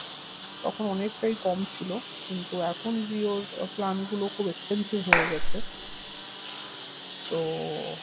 তখন অনেকটাই কম ছিল কিন্তু এখন জিও আহ plan গুলো খুব expensive হয়ে গেছে তো